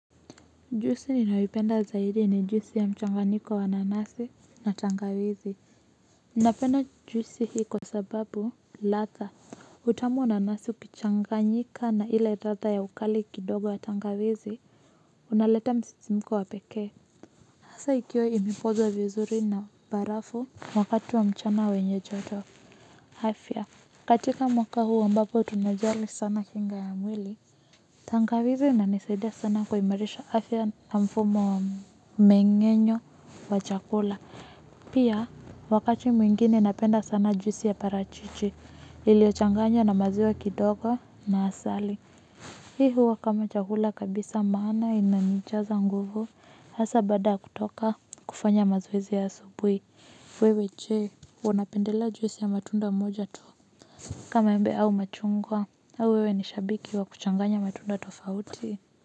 Juisi ninayoipenda zaidi ni juisi ya mchanganiko wa nanasi na tangawizi ninapenda juisi hii kwa sababu latha utamu wa nanasi ukichanganyika na ile latha ya ukali kidogo ya tangawizi unaleta msisimko wa pekee hasa ikiwa imepozwa vizuri na barafu wakati wa mchana wenye joto afya katika mwaka huu ambapo tunajali sana kinga ya mwili. Tangawizi inanisaidia sana kuimarisha afya na mfumo wa meng'enyo wa chakula. Pia wakati mwingine napenda sana juisi ya parachichi. Ilio changanya na maziwa kidogo na asali. Hii huwa kama chakula kabisa maana inanijaza nguvu hasa baada ya kutoka kufanya mazoezi ya asubuhi. Wewe je unapendelea juisi ya matunda moja tu kama embe au machungwa au wewe ni shabiki wa kuchanganya matunda tofauti.